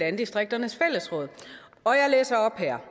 landdistrikternes fællesråd og jeg læser op her